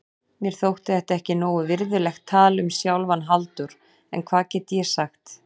Mér þótti þetta ekki nógu virðulegt tal um sjálfan Halldór, en hvað gat ég sagt?